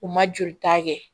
U ma jolita kɛ